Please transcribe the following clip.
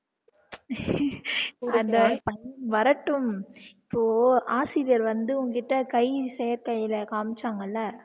அந்த வரட்டும் இப்போ ஆசிரியர் வந்து உன்கிட்ட கை செயற்கைல காமிச்சாங்கலா